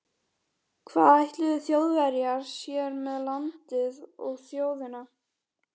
Hvað ætluðu Þjóðverjar sér með landið og þjóðina?